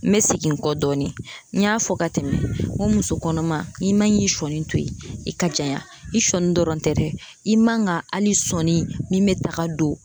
N be segin n kɔ dɔɔnin n y'a fɔ ka tɛmɛ n ko muso kɔnɔma i man k'i sɔnni to yen i ka janya i sɔnni dɔrɔn tɛ dɛ i man ga ali sɔni min be taga don